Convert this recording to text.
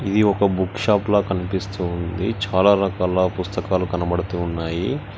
ఇది ఒక బుక్ షాప్ల కనిపిస్తూ ఉంది చాలా రకాల పుస్తకాలు కనబడుతూ ఉన్నాయి.